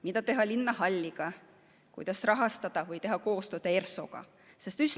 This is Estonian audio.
Mida teha linnahalliga, kuidas seda rahastada või teha seal koostööd ERSO‑ga?